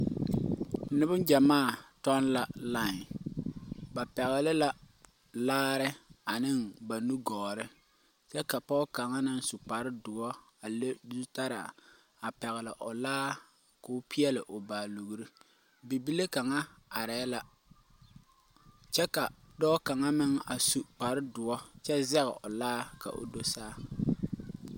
Niŋgyamaa tɔŋla laen ba pɛgle la laare ane ba nugɔɔre kyɛ ka pɔge kaŋ su kparre doɔ a leŋ zu talaa a pɛgle o laa ko peɛli baalugre, bibile kaŋa arɛɛ la kyɛ ka dɔɔ kaŋa meŋ are su kparre doɔ kyɛ zɛg o laa ka o do saa.